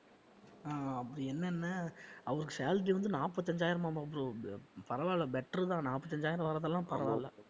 ஆஹ் அப்படி என்னென்ன அவருக்கு salary வந்து நாற்பத்தைந்தாயிரமாம் bro பரவாயில்லை better தான் நாற்பத்தைந்தாயிரம் வர்றதெல்லாம் பரவாயில்லை